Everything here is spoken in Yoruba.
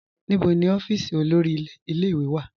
Níbọ̀ ni ọ̀fíísì olórí ìlẹ̀-ìwé wà?